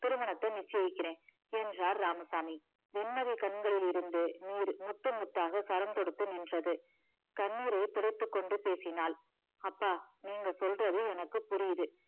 திருமணத்தை நிச்சயிக்கிறேன் என்றார் இராமசாமி வெண்மதி கண்களில் இருந்து நீர் முத்து முத்தாக சரம் தொடுத்து நின்றது கண்ணீரை துடைத்துக்கொண்டு பேசினாள் அப்பா நீங்க சொல்றது எனக்கு புரியுது